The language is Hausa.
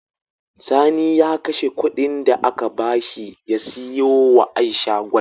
Sani ya kashe Ƙudin da aka bashi ya siyo wa aisha gwal